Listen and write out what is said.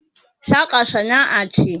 saka sana'a ce